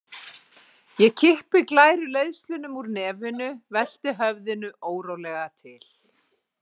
Ég kippi glæru leiðslunum úr nefinu, velti höfðinu órólega til.